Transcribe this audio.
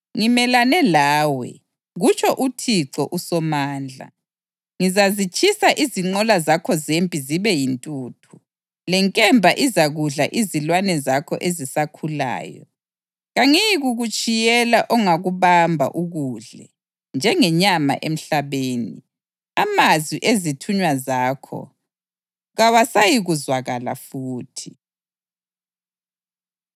“Ngimelane lawe,” kutsho uThixo uSomandla. “Ngizazitshisa izinqola zakho zempi zibe yintuthu; lenkemba izakudla izilwane zakho ezisakhulayo. Kangiyikukutshiyela ongakubamba ukudle njengenyama emhlabeni. Amazwi ezithunywa zakho kawasayikuzwakala futhi.”